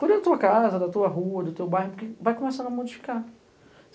Cuida da tua casa, da tua rua, do teu bairro, porque vai começando a modificar.